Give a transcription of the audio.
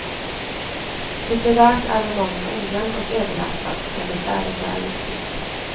Litterärt är romanen ojämn och överlastad, men dess ärende är viktigt.